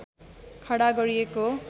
खडा गरिएको हो